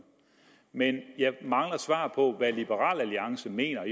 men jeg mangler et svar på hvad liberal alliance mener